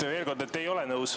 Jah, veel kord, et ei ole nõus.